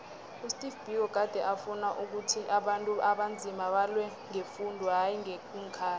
usteve biko gade afuna ukhuthi abantu abanzima balwe ngefundo hayi ngeenkhali